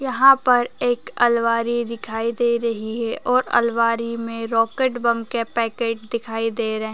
यहाँ पर एक अलमारी दिखाई दे रही है और अलमारी में रॉकेट बम के पैकेट दिखाई दे रहे --